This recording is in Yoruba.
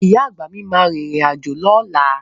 Ìyá àgbà mi máa rìnrìn àjò lọ́la.